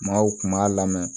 Maaw kun b'a lamɛn